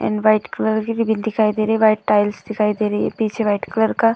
And white colour की ribbon दिखाई दे रहे हैं। व्हाइट टाइल्स दिखाई दे रही है। पीछे व्हाइट कलर का --